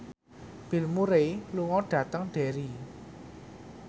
Bill Murray lunga dhateng Derry